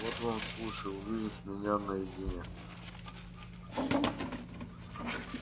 вот вам случай увидеть меня наедине